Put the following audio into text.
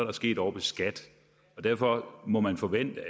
er sket ovre ved skat og derfor må man forvente at